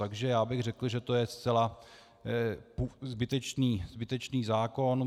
Takže já bych řekl, že to je zcela zbytečný zákon.